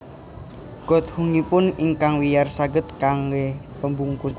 Godhongipun ingkang wiyar saged kanggé pembungkus